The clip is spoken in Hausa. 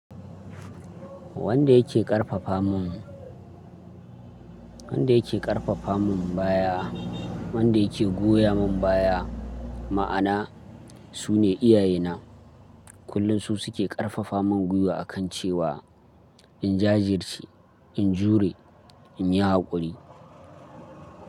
Wanda yake ƙarfafa mun, wanda yake ƙarfafa mun baya, wanda yake goya mun baya, ma'ana su ne iyaye na. Kullum su suke ƙarfafa mun gwiwa a kan cewa in jajirce, in jure, in yi haƙuri.